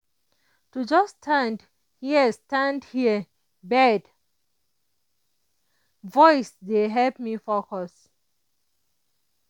to just stand hear stand hear bird voice dey help me focus.